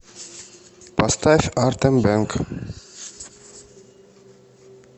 поставь артэм бэнг